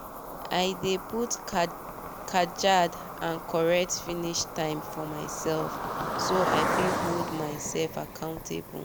i dey put kajad and correct finish time for myself so i fit hold myself accountable